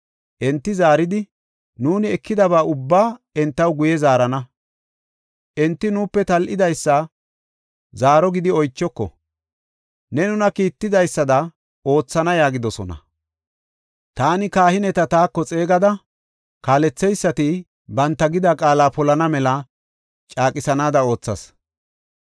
Enti zaaridi, “Nuuni ekidaba ubbaa entaw guye zaarana; enti nuupe tal7idaysa zaaro gidi achoko; ne nuna kiitidaysada oothana” yaagidosona. Taani kahineta taako xeegada kaaletheysati banta gida qaala polana mela caaqisanaada oothas.